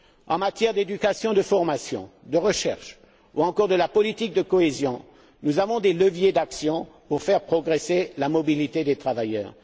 En matière d'éducation, de formation, de recherche, ou qu'il s'agisse de politique de cohésion, nous avons des leviers d'action pour faire progresser la mobilité des travailleurs.